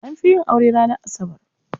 An fi yin aure ne ranar Asabar.